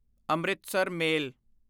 Amritsar ਮੇਲ